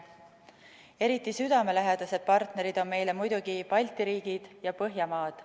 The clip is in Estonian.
Eriti südamelähedased partnerid on meile muidugi Balti riigid ja Põhjamaad.